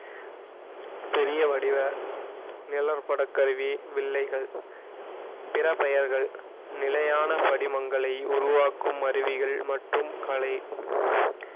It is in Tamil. பெரிய வடிவ நிழற்படக் கருவி வில்லைகள் பிற பெயர்கள் நிலையான படிமங்களை உருவாக்கும் அருவிகள் மற்றும் கலை